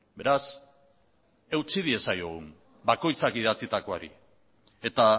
beraz eutsi diezaiogun bakoitzak idatzitakoari eta